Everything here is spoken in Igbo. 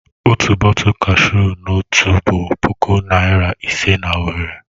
Otu bọtul kashu nọtu bụ puku naira ise na Owerri.